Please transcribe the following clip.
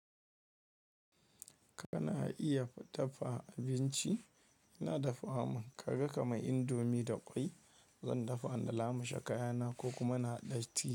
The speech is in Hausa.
Kana iya dafa abinci? Ina dafawa man, kaga kaman indomie da ƙwai, zan dafa na lamushe kayana ko kuma na haɗa tea.